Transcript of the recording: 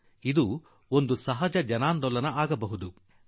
ವೃಕ್ಷಾರೋಹಣ ಒಂದು ಸ್ವಾಭಾವಿಕ ಜನ ಆಂದೋಲನ ಆಗಬಲ್ಲದು